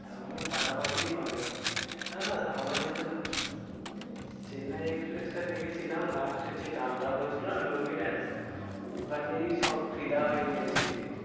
তারমানে ফাটাফাটিই হবে না না আমরা যেটা ফাটাফাটি মানে চেন্নাই এক্সপ্রেস টা দেখেছিলাম, last এর যে গানটা হয়েছিল না লুঙ্গি dance? ওখানেই সব হ্যাঁ হ্যাঁ হ্যাঁ ফিদা হয়ে গেছে।